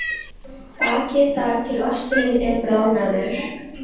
ars undarlega góð hérna úti í fersku og svölu loftinu.